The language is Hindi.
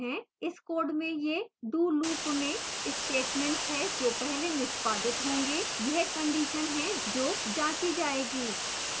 इस code में ये do loop में statements हैं जो पहले निष्पादित होंगे यह condition है जो जाँची जायेगी